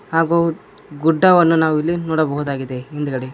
ಹಾಗು ಗುಡ್ಡವನ್ನು ನಾವಿಲ್ಲಿ ನೋಡಬಹುದಾಗಿದೆ ಹಿಂದ್ಗಡೆ.